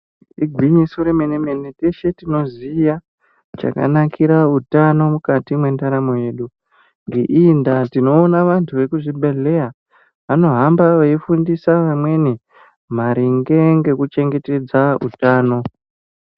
Igwinyiso remene-mene teshe tinoziya chakanakira utano mukati mwendaramo yedu. Ngeiyi ndaa tinoona vantu vekuzvibhedhleya vanohamba veifundisa vamweni maringe ngekuchengetedza utano.